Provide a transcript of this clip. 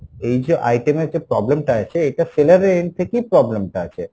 এই যে item এর যে problem টা আছে এটা seller এর end থেকেই problem টা আছে।